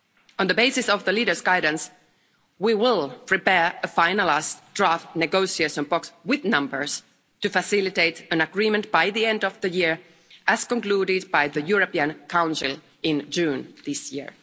On the basis of the leaders' guidance, we will prepare a finalised draft negotiation box with numbers to facilitate an agreement by the end of the year, as concluded by the European Council in June this year.